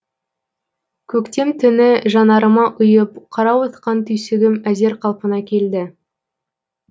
көктем түні жанарыма ұйып қарауытқан түйсігім әзер қалпына келді